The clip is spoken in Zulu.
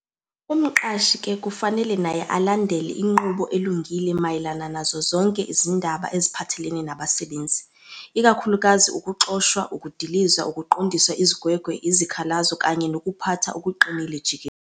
Umqashi ke kufanele naye alandele inqubo elungile mayelana nazo zonke izindaba eziphathelelene nabasebenzi, ikakhulukazi ukuxoshwa, ukudilizwa, ukuqondiswa izigwegwe, izikhalazo, kanye nokuphatha okuqinile jikelele.